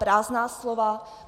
Prázdná slova.